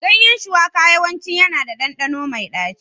Ganyen shuwaka yawanci yana da ɗanɗano mai ɗaci.